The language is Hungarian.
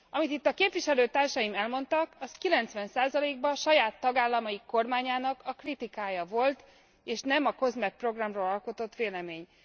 Amit itt a képviselőtársaim elmondtak, az 90 ban saját tagállamaik kormányának a kritikája volt és nem a COSME programról alkotott vélemény.